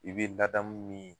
I bi ladamu min ye